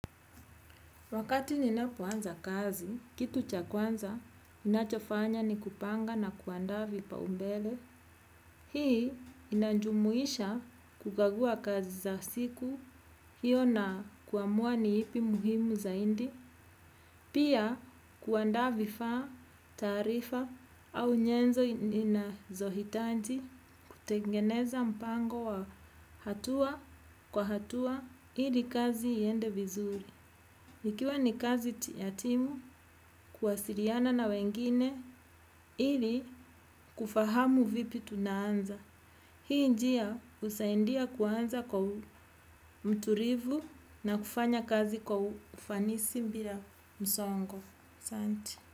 Wakati ninapoanza kazi, kitu cha kwanza, ninachofanya ni kupanga na kuandaa vipaumbele. Hii inajumuisha kukagua kazi za siku, hiyo na kuamua ni ipi muhimu zaindi. Pia kuandaa vifaa taarifa au nyenzo inazohitaji kutengeneza mpango wa hatua kwa hatua ili kazi iende vizuri. Ikiwa ni kazi ya timu, kuwasiriana na wengine, ili kufahamu vipi tunaanza. Hii njia husaindia kuanza kwa mturivu na kufanya kazi kwa ufanisi mbira msongo. Santi.